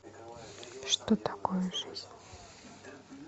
что такое жизнь